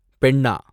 பெண்ணா